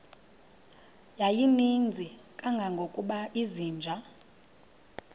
yayininzi kangangokuba izinja